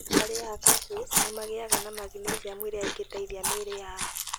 Arĩaga cashews nĩ magĩaga na magnesiamu ĩrĩa ĩngĩteithia mĩĩrĩ yao.